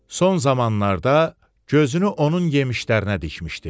Son zamanlarda gözünü onun yemişlərinə dikmişdi.